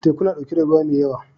Teku na ɗauke da ruwa mai yawa.